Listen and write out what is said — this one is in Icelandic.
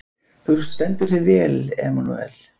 Þú stendur þig vel, Emanúel!